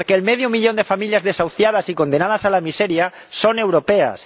Porque el medio millón de familias desahuciadas y condenadas a la miseria son europeas.